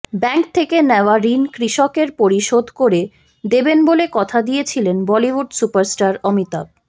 bank থেকে নেওয়া ঋণ কৃষকের পরিশোধ করে দেবেন বলে কথা দিয়েছিলেন বলিউড সুপারস্টার অমিতাভ